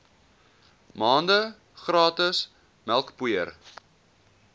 maande gratis melkpoeier